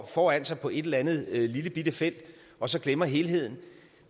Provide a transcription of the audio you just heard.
foran sig på et eller andet lillebitte felt og så glemmer helheden